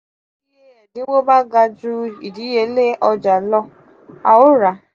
ti iye ẹdinwo ba ga ju idiyele ọja lọ a o ra.